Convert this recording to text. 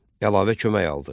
Əlavə kömək aldı.